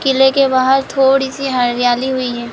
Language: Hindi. किले के बाहर थोडी सी हरियाली हुई है।